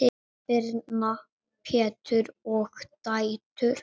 Birna, Pétur og dætur.